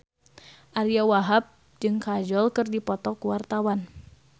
Ariyo Wahab jeung Kajol keur dipoto ku wartawan